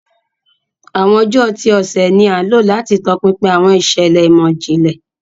Awọn ọjọ ti ọsẹ ni a lo lati tọpinpin awọn iṣẹlẹ imọ-jinlẹ.